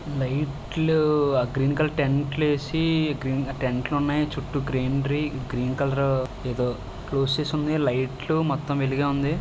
Light లు ఆ green colour tent లేసి టెంట్ లున్నాయి. చుట్టూ గ్రీనరీ . గ్రీన్ కలర్ ఏదో సోర్సెస్ ఉన్నాయ్. లైట్ లు మొత్తం వెలుగే ఉంది.